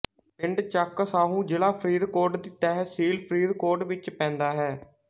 ਪਿੰਡ ਚੱਕ ਸਾਹੂ ਜ਼ਿਲਾ ਫਰੀਦਕੋਟ ਦੀ ਤਹਿਸੀਲ ਫਰੀਦਕੋਟ ਵਿੱਚ ਪੈਂਦਾ ਹੈ